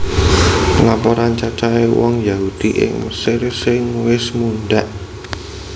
Laporan cacahé wong Yahudi ing Mesir sing wis mundhak